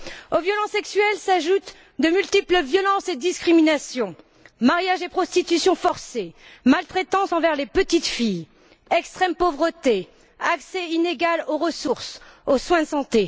Aux violences sexuelles, s'ajoutent de multiples violences et discriminations mariage et prostitution forcée, maltraitance envers les petites filles, extrême pauvreté, accès inégal aux ressources, aux soins de santé.